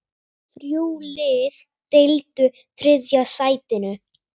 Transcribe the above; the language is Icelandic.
Þrjú lið deildu þriðja sætinu.